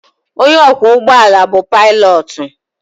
Onye ọkwọ ụgbọelu bu pilotu.